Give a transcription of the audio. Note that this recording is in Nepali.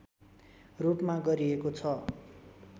रूपमा गरिएको छ